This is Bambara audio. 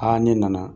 ne nana